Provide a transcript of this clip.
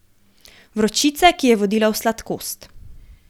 Vročice, ki je vodila v sladkost.